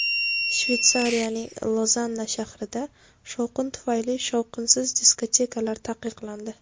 Shveysariyaning Lozanna shahrida shovqin tufayli shovqinsiz diskotekalar taqiqlandi.